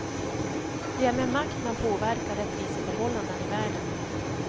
Det är med makt man påverkar rättviseförhållanden i världen.